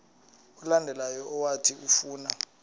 olandelayo owathi ufuna